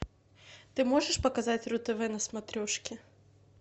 ты можешь показать ру тв на смотрешке